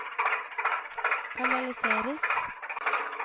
kanaliseres